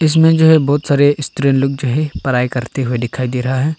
इसमें जो है बहुत सारे स्त्री लोग जो है पढ़ाई करते हुए दिखाई दे रहा है।